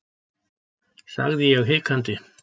sagði ég hikandi.